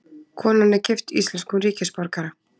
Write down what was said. Konan er gift íslenskum ríkisborgara